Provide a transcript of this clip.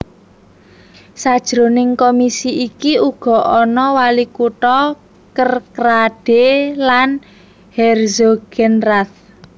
Sajroning komisi iki uga ana walikutha Kerkrade lan Herzogenrath